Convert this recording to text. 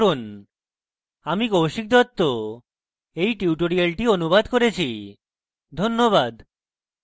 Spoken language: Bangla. আমি কৌশিক দত্ত এই টিউটোরিয়ালটি অনুবাদ করেছি ধন্যবাদ